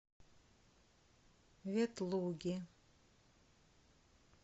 ветлуги